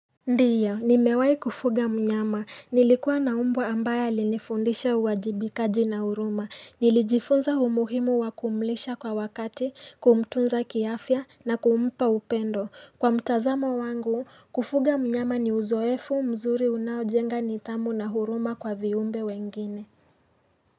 Ndiyo nimewai kufuga mnyama nilikuwa na mbwa ambaye alinifundisha uwajibikaji na huruma nilijifunza umuhimu wa kumlisha kwa wakati kumtunza kiafya na kumpa upendo kwa mtazamo wangu kufuga mnyama ni uzoefu mzuri unaojenga nidhamu na huruma kwa viumbe wengine.